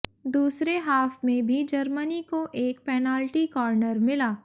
दूसरे हाफ में भी जर्मनी को एक पेनाल्टी कॉर्नर मिला